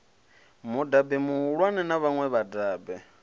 mudabe muhulwane na vhaṋwe vhadabe